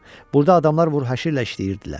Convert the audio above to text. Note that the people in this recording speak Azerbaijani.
Burda adamlar vur-həşirlə işləyirdilər.